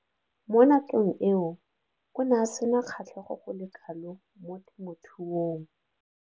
Mo nakong eo o ne a sena kgatlhego go le kalo mo temothuong.